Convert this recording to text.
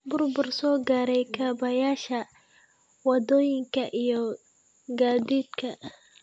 Burbur soo gaaray kaabayaasha waddooyinka iyo gaadiidka.